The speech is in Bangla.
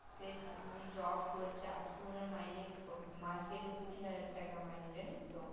দেখ উনি job করছে আজকে উনার মাইনে মাস গেলে কুড়ি হাজার টাকা মাইনে জানিস তো